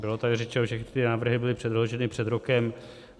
Bylo tady řečeno, že ty návrhy byly předloženy před rokem.